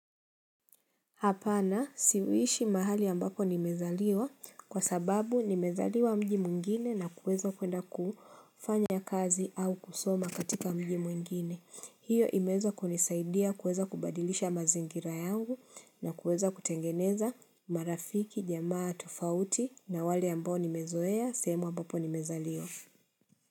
Hapana siishi mahali ambako nimezaliwa kwa sababu nimezaliwa mji mwingine na kuweza kwenda kufanya kazi au kusoma katika mji mwingine. Hiyo imeweza kunisaidia kuweza kubadilisha mazingira yangu na kuweza kutengeneza marafiki, jamaa, tofauti na wale ambao nimezoea sehemu ambapo nimezaliwa.